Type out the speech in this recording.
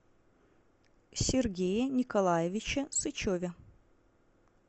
сергее николаевиче сычеве